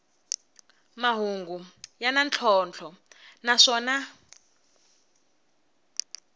mahungu ya na ntlhontlho naswona